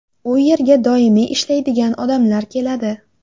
U yerga doimiy ishlaydigan odamlar keladi.